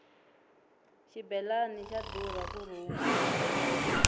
xibelani xa durha ku rhunga